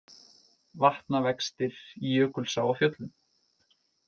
Vatnavextir í Jökulsá á Fjöllum